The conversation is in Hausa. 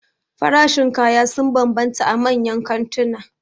Farashin kaya sun banbanta a manyan kantuna